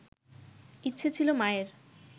ইচ্ছে ছিল মায়ের